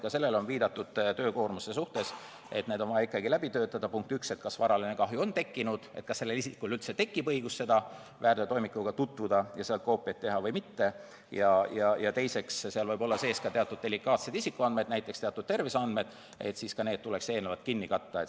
Ka sellele on viidatud töökoormuse suhtes, et on vaja ikkagi need materjalid läbi töötada – esiteks selleks, et teada, kas varaline kahju on tekkinud, kas isikul üldse tekib õigus väärteotoimikuga tutvuda ja sealt koopiaid teha või mitte, ja teiseks võib seal sees olla teatud delikaatseid isikuandmeid, näiteks terviseandmed, sel juhul aga tuleks need eelnevalt kinni katta.